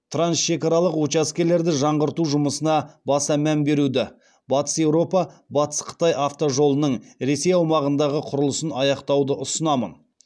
траншекаралық учаскелерді жаңғырту жұмысына баса мән беруді батыс еуропа батыс қытай автожолының ресей аумағындағы құрылысын аяқтауды ұсынамын